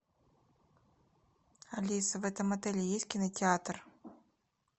алиса в этом отеле есть кинотеатр